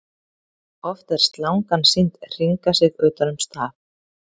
Oft er slangan sýnd hringa sig utan um staf.